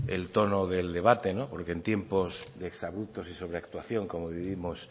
el tono del debate porque en tiempos de exabruptos y sobreactuación como vivimos